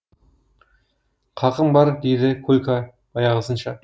қақым бар дейді колька баяғысынша